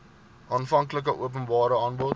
aanvanklike openbare aanbod